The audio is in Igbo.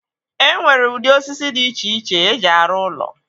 E nwere ụdị osisi dị iche iche eji arụ ụlọ.